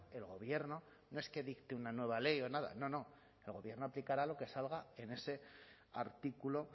el gobierno no es que dicte una nueva ley o nada no no el gobierno aplicará lo que salga en ese artículo